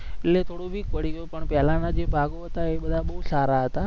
એ થોડુંક પણ પેલાના જે ભાગો હતા, એ બધા બોવ સારા હતા